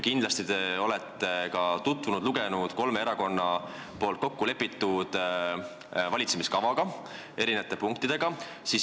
Kindlasti te olete lugenud kolme erakonna kokku lepitud valitsemiskava eri punkte.